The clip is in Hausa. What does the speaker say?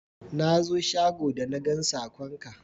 Na zo shago da na gan sakon ka